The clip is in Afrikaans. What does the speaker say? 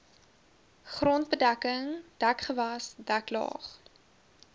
grondbedekking dekgewas deklaag